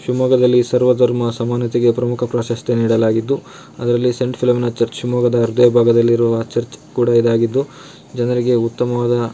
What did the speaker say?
ಶಿವಮೊಗ್ಗದಲ್ಲಿ ಸರ್ವ ಧರ್ಮ ಸಮನ್ವತೆಗೆ ಪ್ರಮುಖ ಪ್ರಾಶಸ್ತ್ಯ ನೀಡಲಾಗಿದ್ದು ಅದರಲ್ಲಿ ಸೆಂಟ್ ಫಿಲೋಮಿನಾ ಚರ್ಚ್ ಮೊಗದ ಅರ್ಧ ಭಾಗದಲ್ಲಿರುವ ಚರ್ಚ್ ಕೂಡ ಇದಾಗಿದ್ದು ಜನರಿಗೆ ಉತ್ತಮವಾದ--